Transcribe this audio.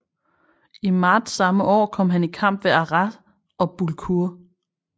I marts samme år kom han i kamp ved Arras og Bullecourt